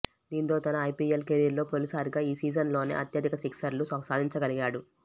దీంతో తన ఐపీఎల్ కెరీర్లో తొలిసారిగా ఈ సీజన్లోనే అత్యధిక సిక్సర్లు సాధించగలిగాడు